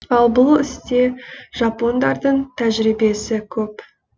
ал бұл істе жапондардың тәжірибесі көп